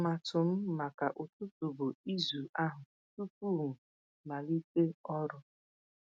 Atụmatụ m maka ụtụtụ bụ ịzụ ahụ tupu m malite ọrụ.